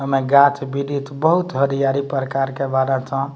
एमे गाँछ-वृछ बहुत हरयारी प्रकार के बारं छौं।